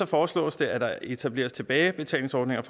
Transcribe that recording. foreslås det at der etableres tilbagebetalingsordninger